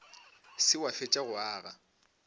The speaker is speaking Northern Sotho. se wa fetša go aga